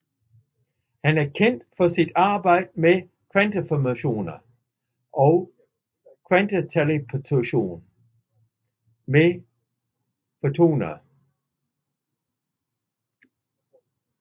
Han er kendt for sit arbejde med kvanteinformation og kvanteteleportation med fotoner